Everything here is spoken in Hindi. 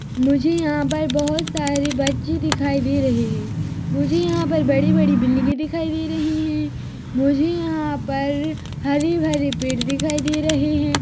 मुझे यहाँ पर बहुत सारे बच्चे दिखाई दे रहे हैं मुझे यहाँ पर बड़ी बड़ी बिल्डिंगे दिखाई दे रही हैं मुझे यहाँ पर हरे भरे पेड़ दिखाई दे रहे हैं।